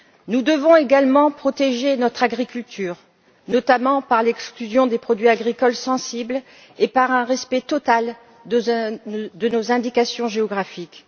Nous devons également protéger notre agriculture, notamment par l'exclusion des produits agricoles sensibles et par un respect total de nos indications géographiques.